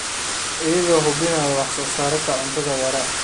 iyadoo la hubinayo wax-soo-saar cunto oo waara.